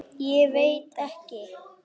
Ég veit ekki.